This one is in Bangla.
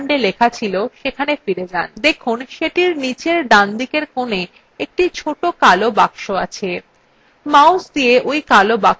go cell sunday লেখা ছিল সেখানে ফিরে যান দেখুন সেটির নীচের ডানদিকের কোনে একটি ছোট কালো box আছে